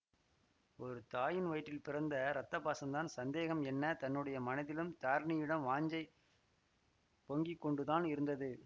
ஒரு தாயின் வயிற்றில் பிறந்த இரத்த பாசந்தான் சந்தேகம் என்ன தன்னுடைய மனதிலும் தாரிணியிடம் வாஞ்சை பொங்கிக்கொண்டுதான் இருந்தது